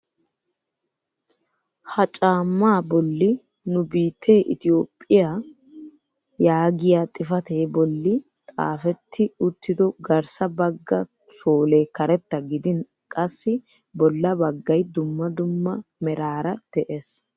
Ha caammaa bolli nu biittee itoophphiyaa yaagiyaa xifatee bolli xaafetti uttido garssa bagga soolee karetta gidin qassi bolla baggay dumma dumma meraara de'ees.